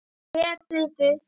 Töpuðu þau?